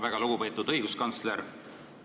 Väga lugupeetud õiguskantsler!